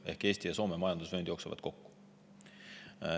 Ehk Eesti ja Soome majandusvöönd jooksevad kokku.